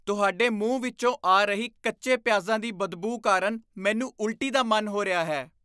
ਤੁਹਾਡੇ ਮੂੰਹ ਵਿੱਚੋਂ ਆ ਰਹੀ ਕੱਚੇ ਪਿਆਜ਼ਾਂ ਦੀ ਬਦਬੂ ਕਾਰਨ ਮੈਨੂੰ ਉਲਟੀ ਦਾ ਮਨ ਹੋ ਰਿਹਾ ਹੈ।